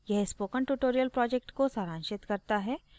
यह spoken tutorial project को सारांशित करता है